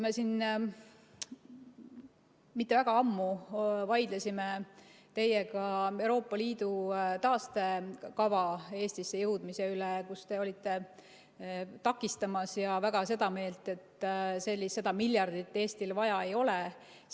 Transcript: Me siin mitte väga ammu vaidlesime teiega Euroopa Liidu taastekava Eestisse jõudmise üle, te olite seda takistamas ja väga seda meelt, et seda miljardit Eestil vaja ei ole.